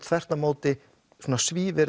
þvert á móti